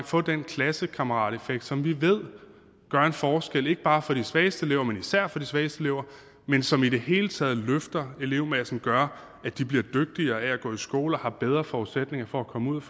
få den klassekammerateffekt som vi ved gør en forskel ikke bare for de svageste elever men især for de svageste elever men som i det hele taget løfter elevmassen og gør at de bliver dygtigere af at gå i skole og har bedre forudsætninger for at komme ud